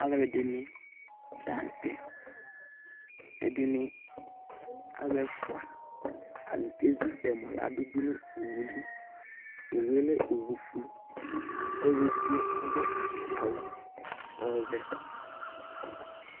Alʋɛdìní la ntɛ Ɛdiní, alu ɛfʋa, atani kɛzu ɛmɔ ladu nʋ owu li Owu ye lɛ owu fʋe Ɔlu ɛdigbo adu awu ɔvɛ